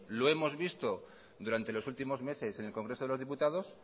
lo hemos visto durante los últimos meses en el congreso de los diputados